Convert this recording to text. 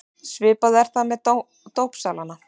Svipað er það með dópsalana.